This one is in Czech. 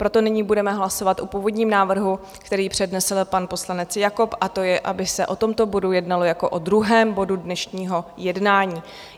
Proto nyní budeme hlasovat o původním návrhu, který přednesl pan poslanec Jakob, a to je, aby se o tomto bodu jednalo jako o druhém bodu dnešního jednání.